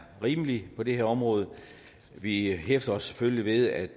rimelig på det her område vi hæfter os selvfølgelig ved at